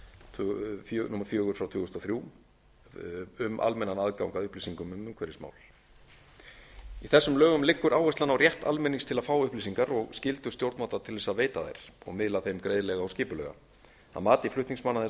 tvö þúsund og þrjú fjögur e b um almennan aðgang að upplýsingum um umhverfismál í lögunum liggur áherslan á rétt almennings til að fá upplýsingar og skyldu stjórnvalda til þess að veita þær og miðla þeim greiðlega og skipulega að mati flutningsmanna þessa